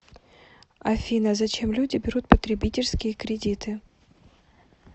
афина зачем люди берут потребительские кредиты